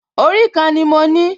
Orí kan ni mo ní